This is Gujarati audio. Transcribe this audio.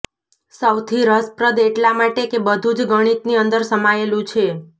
સૌથી રસપ્રદ એટલા માટે કે બધું જ ગણિતની અંદર સમાયેલું છે